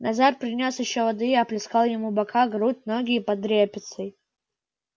назар принёс ещё воды и оплескал ему бока грудь ноги и под репицей